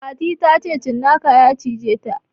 Fati ta ce cinnaka ya cije ta